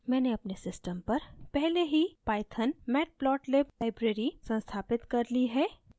मैंने अपने system पर पहले ही pythonmatplotlib library संस्थापित कर ली है